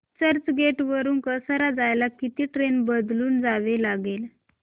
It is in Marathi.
चर्चगेट वरून कसारा जायला किती ट्रेन बदलून जावे लागेल